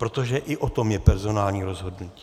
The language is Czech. Protože i o tom je personální rozhodnutí.